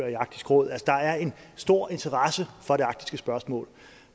i arktisk råd der er en stor interesse for det arktiske spørgsmål